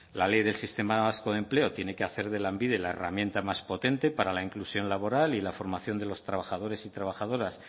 la ley del sistema vasco empleo tiene que hacer de lanbide la herramienta más potente para la inclusión laboral y la formación de los trabajadores y trabajadoras